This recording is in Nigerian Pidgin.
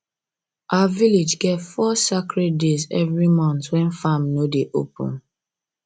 our village get four sacred days every month when farm no dey open